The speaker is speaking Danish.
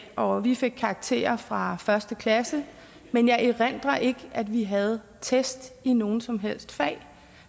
og vi fik karakterer fra første klasse men jeg erindrer ikke at vi havde test i nogen som helst fag